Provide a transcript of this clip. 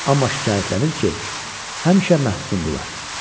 Amma şikayətlənir ki, həmişə məhsundurlar.